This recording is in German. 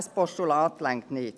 Ein Postulat reicht nicht.